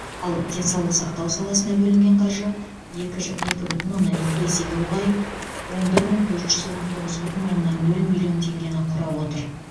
ал денсаулық сақтау саласына бөлінген қаржы екі ж екі бүтін оннан екі есеге ұлғайып он бір мың төрт жүз он тоғыз бүтін оннан нөл миллион теңгені құрап отыр